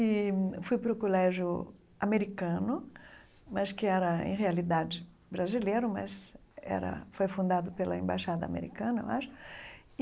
E fui para o colégio americano, mas que era, em realidade, brasileiro, mas era foi fundado pela Embaixada Americana, eu acho.